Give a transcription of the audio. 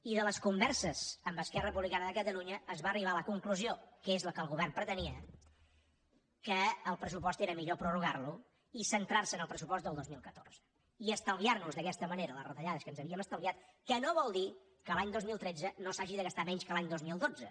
i de les converses amb esquerra republicana de catalunya es va arribar a la conclusió que és la que el govern pretenia que el pressupost era millor prorrogarlo i centrarse en el pressupost del dos mil catorze i estalviarnos d’aquesta manera les retallades que ens havíem estalviat que no vol dir que l’any dos mil tretze no s’hagi de gastar menys que l’any dos mil dotze